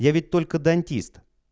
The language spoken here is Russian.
я ведь только дантист